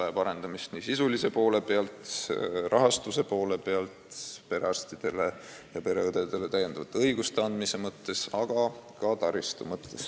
Ning arendamist vajab nii esmatasandi sisuline pool kui ka rahastuse pool, samuti on vaja perearstidele ja pereõdedele õigusi juurde anda ning täiendada keskuste taristut.